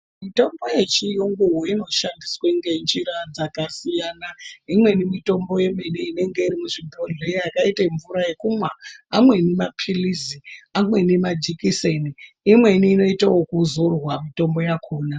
Mitombo yechiyungu inoshandiswa ngenjira dzakasiyana imweni mitombo ine nge iri muzvibhohlera yakaite mvura yekumwa amweni mapilisi anweni majekiseni imweni inoita yekuzorwa mutombo yakona.